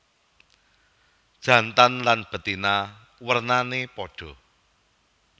Jantan lan betina wernané padha